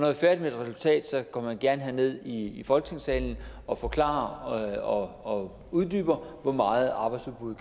er færdige med et resultat går man gerne herned i folketingssalen og forklarer og og uddyber hvor meget arbejdsudbud